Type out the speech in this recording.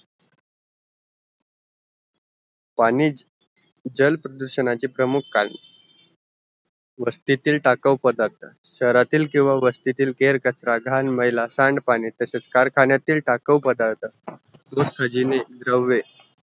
पाणी जल प्रदूषणाचा प्रमुख कारण वस्तीतील टाकावं पदार्त शेहरातील किवां वस्तीतील केर कचरा, घणमेला, सांड पाणी तसेच कारखानेतील टाकावं पदार्त